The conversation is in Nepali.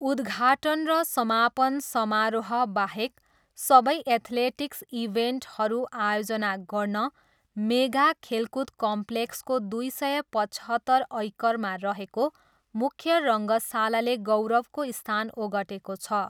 उद्घाटन र समापन समारोहबाहेक सबै एथलेटिक्स इभेन्टहरू आयोजना गर्न, मेगा खेलकुद कम्प्लेक्सको दुई सय पचहत्तर ऐकरमा रहेको मुख्य रङ्गशालाले गौरवको स्थान ओगटेको छ।